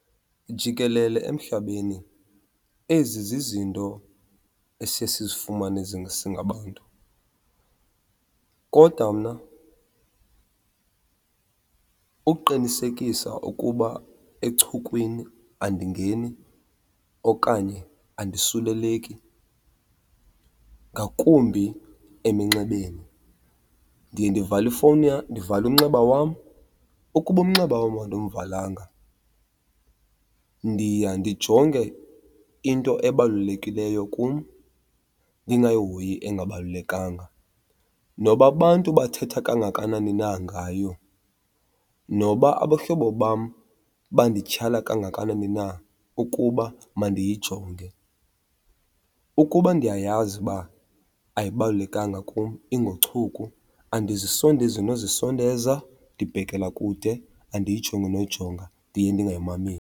Jikelele emhlabeni ezi zizinto esiye sizifumane singabantu. Kodwa mna uqinisekisa ukuba echukwini andingeni okanye andisuleleki, ngakumbi eminxebeni, ndiye ndivale ifowuni , ndivale umnxeba wam. Ukuba umnxeba wam andimvalanga ndiya ndijonge into ebalulekileyo kum ndingayihoyi engabalulekanga. Noba abantu bathetha kangakanani na ngayo, noba abahlobo bam bandityhala kangakanani na ukuba mandiyijonge, ukuba ndiyayazi uba ayibalulekanga kum ingochuku andizisondezi nozisondeza, ndibhekela kude andiyijongi noyijonga, ndiye ndingayimameli.